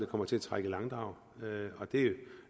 kommer til at trække i langdrag og det